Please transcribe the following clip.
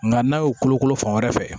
Nka n'a y'o kolokolo fan wɛrɛ fɛ